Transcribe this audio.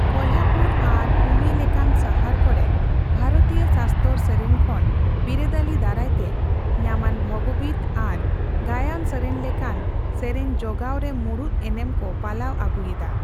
ᱠᱚᱞᱦᱟᱯᱩᱨ ᱟᱨ ᱯᱩᱱᱮ ᱞᱮᱠᱟᱱ ᱥᱟᱦᱟᱨ ᱠᱚᱨᱮ ᱵᱷᱟᱨᱚᱛᱤᱭᱚ ᱥᱟᱥᱛᱚᱨ ᱥᱮᱨᱮᱧ ᱠᱷᱚᱱ ᱵᱤᱨᱟᱹᱫᱟᱹᱞᱤ ᱫᱟᱨᱟᱭᱛᱮ ᱧᱟᱢᱟᱱ ᱵᱷᱚᱵᱚᱜᱤᱛ ᱟᱨ ᱜᱟᱭᱟᱱ ᱥᱮᱨᱮᱧ ᱞᱮᱠᱟᱱ ᱥᱮᱨᱮᱧ ᱡᱚᱜᱟᱣᱨᱮ ᱢᱩᱲᱩᱫ ᱮᱱᱮᱢ ᱠᱚ ᱯᱟᱞᱟᱣ ᱟᱹᱜᱩᱭᱮᱫᱟ